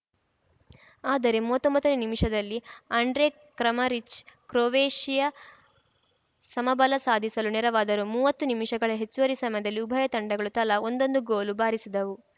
ಆದರೆ ಮೂವತ್ತೊಂಬತ್ತನೇ ನಿಮಿಷದಲ್ಲಿ ಆಂಡ್ರೆ ಕ್ರಮರಿಚ್‌ ಕ್ರೊವೇಷಿಯಾ ಸಮಬಲ ಸಾಧಿಸಲು ನೆರವಾದರು ಮೂವತ್ತು ನಿಮಿಷಗಳ ಹೆಚ್ಚುವರಿ ಸಮದಲ್ಲಿ ಉಭಯ ತಂಡಗಳು ತಲಾ ಒಂದೊಂದು ಗೋಲು ಬಾರಿಸಿದವು